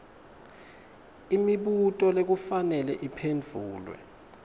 imibuto lekufanele iphendvulwe